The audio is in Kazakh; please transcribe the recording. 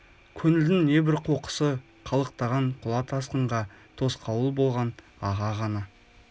көңілдің небір қоқысы қалықтаған құла тасқынға тосқауыл болған аға ғана